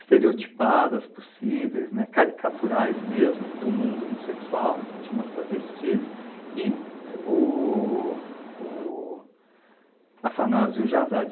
estereotipadas possíveis, né, caricaturais mesmo, do mundo homossexual, então tinha umas travestis, e o o Afanásio Jazade.